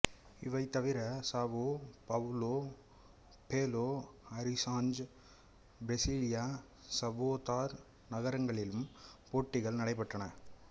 இவை தவிர Sao Paulo Belo Horizonte Brasilia Salvador நகரங்களிலும் போட்டிகள் நடைபெற்றன